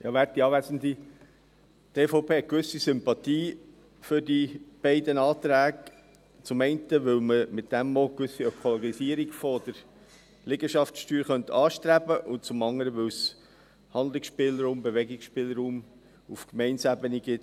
Die EVP hat eine gewisse Sympathie für die beiden Anträge, weil man damit zum einen eine Ökologisierung der Liegenschaftssteuer anstreben könnte und zum anderen, weil es für die Ausgestaltung dieser Steuer Handlungsspielraum, Bewegungsspielraum auf Gemeindeebene gibt.